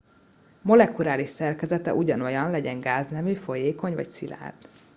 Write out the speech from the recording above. molekuláris szerkezete ugyanolyan legyen gáznemű folyékony vagy szilárd